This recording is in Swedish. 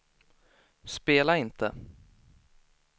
spela inte